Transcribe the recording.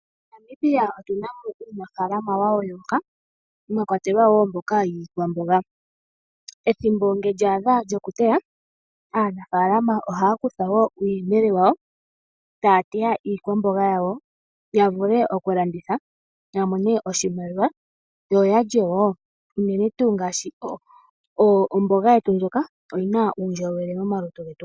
MoNamibia otu na mo uunafaalama wayooloka, mwa kwatelwa wo mboka yiikwamboga. Ethimbo lyokuteya ngele olya adha, aanafalama ohaya kutha uuyemele wawo, etaya mu omboga yawo, ya vule okulanditha, opo ya mone oshimaliwa, yo yalye wo. Unene tuu omboga yetu ndjoka, oyi na uundjolowele momalutu getu.